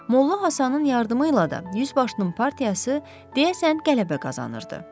Molla Həsənin yardımı ilə də yüzbaşının partiyası deyəsən qələbə qazanırdı.